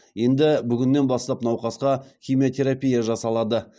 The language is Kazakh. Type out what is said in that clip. енді бүгіннен бастап науқасқа химиотерапия жасалады